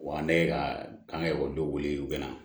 Wa ne ye ka k'an ka ekɔlidenw wele u bɛna